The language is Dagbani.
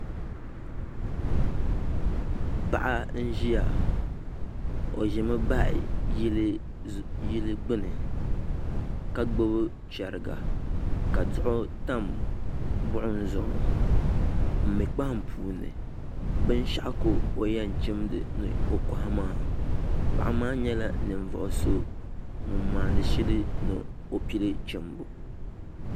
Paɣa n ʒiya o ʒimi baɣa yili gbuni ka gbubi chɛriga ka duɣu tam buɣum zuɣu n mii kpaham puuni binshaɣu ka o yɛn chim dinni ni o kohi maa paɣa maa nyɛla ninvuɣu so ŋun maandi shili ni o pili chimbu